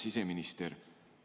Hea siseminister!